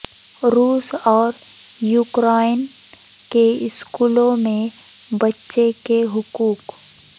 روس اور یوکرائن کے اسکولوں میں بچے کے حقوق